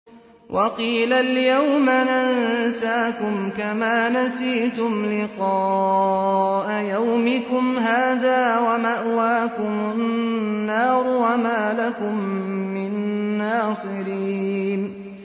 وَقِيلَ الْيَوْمَ نَنسَاكُمْ كَمَا نَسِيتُمْ لِقَاءَ يَوْمِكُمْ هَٰذَا وَمَأْوَاكُمُ النَّارُ وَمَا لَكُم مِّن نَّاصِرِينَ